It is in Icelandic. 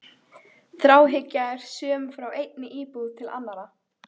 Þráhyggja er söm frá einni íbúð til annarrar.